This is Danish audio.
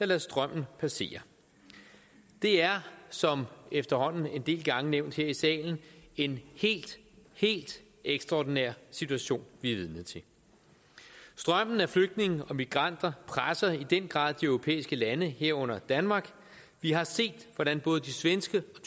lader strømmen passere det er som efterhånden en del gange nævnt her i salen en helt helt ekstraordinær situation vi er vidne til strømmen af flygtninge og migranter presser i den grad de europæiske lande herunder danmark vi har set hvordan både de svenske og